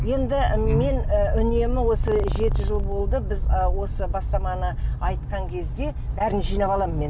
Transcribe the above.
енді мен і үнемі осы жеті жыл болды біз ы осы бастаманы айтқан кезде бәрін жинап аламын мен